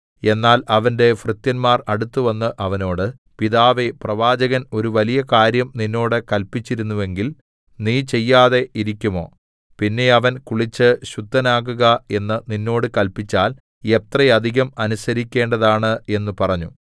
എന്നാൽ അവന്റെ ഭൃത്യന്മാർ അടുത്തുവന്ന് അവനോട് പിതാവേ പ്രവാചകൻ ഒരു വലിയ കാര്യം നിന്നോട് കല്പിച്ചിരുന്നുവെങ്കിൽ നീ ചെയ്യാതെ ഇരിക്കുമോ പിന്നെ അവൻ കുളിച്ച് ശുദ്ധനാകുക എന്ന് നിന്നോട് കല്പിച്ചാൽ എത്ര അധികം അനുസരിക്കേണ്ടതാണ് എന്ന് പറഞ്ഞു